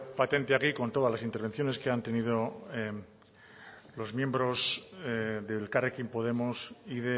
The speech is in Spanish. patente aquí con todas las intervenciones que han tenido los miembros de elkarrekin podemos y